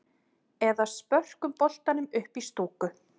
Eða spörkum boltanum upp í stúku?